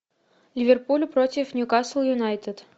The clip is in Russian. ливерпуль против нью касл юнайтед